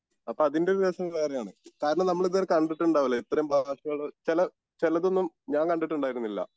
അപ്പൊ അതിൻ്റെ ഒരു രസം വേറെയാണ് കാരണം നമ്മളിതുവരെ കണ്ടിട്ടുണ്ടാവില്ല ഇത്രേം ഭാഷകള് ചെല ചെലതൊന്നും ഞാൻ കണ്ടിട്ടുണ്ടായിരുന്നില്ല